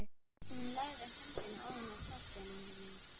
Hún lagði höndina ofan á kollinn á honum.